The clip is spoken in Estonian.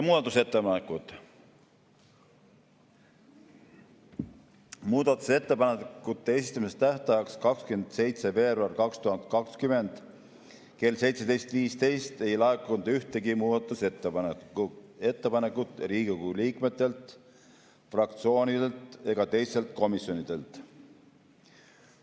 Muudatusettepanekute esitamise tähtajaks 27. veebruaril 2020 kell 17.15 ei laekunud ühtegi muudatusettepanekut Riigikogu liikmetelt, fraktsioonidelt ega teistelt komisjonidelt.